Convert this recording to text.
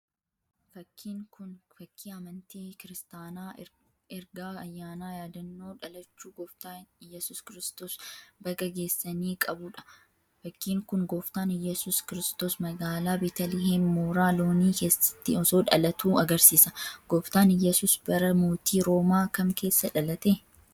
Fakkiin kun, fakkii amantii Kiristaanaa ergaa ayyaana yaadannoo dhalachuu Gooftaa Iyyasuus Kiristoos baga geessanii qauu dha. Fakkiin kun, Gooftaan Iyyasuus Kiristoos magaalaa Beetaliheem mooraa loonii keessatti osoo dhalatuu agarsiisa. Gooftaan Iyyasuus bara mootii roomaa kam keessa dhalate?